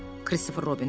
Kristofer Robin dedi.